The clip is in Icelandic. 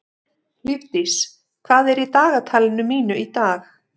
Lífdís, hvað er í dagatalinu mínu í dag?